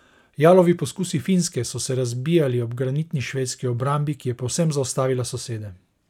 Jalovi poskusi Finske so se razbijali ob granitni švedski obrambi, ki je povsem zaustavila sosede.